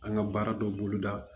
An ka baara dɔ boloda